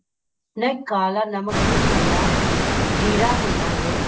ਕਾਲਾ ਨਮਕ ਨੀ ਭੁੰਨਣਾ ਜ਼ੀਰਾ ਭੁੰਨਾ ਗੇ